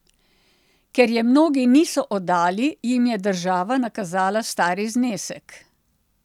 Ker je mnogi niso oddali, jim je država nakazala stari znesek.